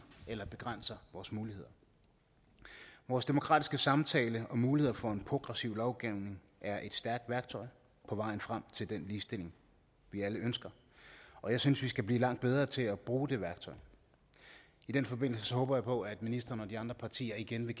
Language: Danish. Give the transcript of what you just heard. aller begrænser vores muligheder vores demokratiske samtale og muligheder for en progressiv lovgivning er et stærkt værktøj på vejen frem til den ligestilling vi alle ønsker og jeg synes vi skal blive langt bedre til at bruge det værktøj i den forbindelse håber jeg på at ministeren og de andre partier igen vil